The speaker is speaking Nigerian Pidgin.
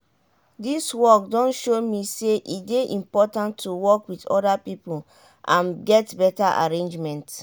dis work don show me say e dey important to work wit oda pipo and get beta arrangement.